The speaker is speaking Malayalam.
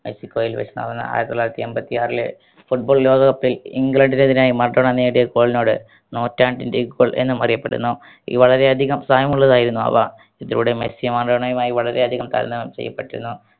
മെക്സിക്കോയിൽ വെച്ച് നടന്ന ആയിരത്തി തൊള്ളായിരത്തി എമ്പത്തി ആറിലെ football ലോക cup ൽ ഇഗ്ലണ്ടിന്‌ എതിരായ മറഡോണ നേടിയ goal നോട് നൂറ്റാണ്ടിൻറെ goal എന്നും അറിയപ്പെടുന്നു വളരെയധികം സ്ഥാനമുള്ളതായിരുന്നു അവ ഇതിലൂടെ മെസ്സി മറഡോണയുമായി വളരെയധികം തരണം ചെയ്യപ്പെട്ടിരുന്നു